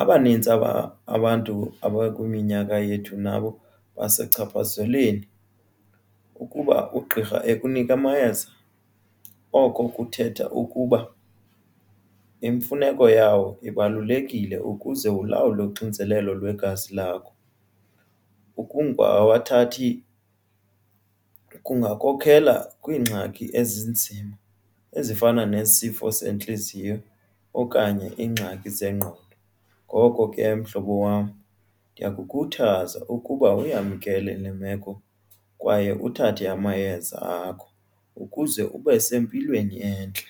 Abanintsi aba abantu abakwiminyaka yethu nabo basechaphazelweni. kUuba ugqirha ekunika amayeza oko kuthetha ukuba imfuneko yawo ibalulekile ukuze ulawule uxinzelelo lwegazi lakho. Ukuba awuwathathi kungakhokela kwiingxaki ezinzima ezifana nesifo sentliziyo okanye iingxaki zengqondo. Ngoko ke mhlobo wam ndiyakukhuthaza ukuba uyamkele le meko kwaye uthathe amayeza akho ukuze ube sempilweni entle.